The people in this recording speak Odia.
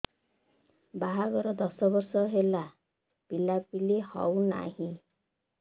ବାହାଘର ଦଶ ବର୍ଷ ହେଲା ପିଲାପିଲି ହଉନାହି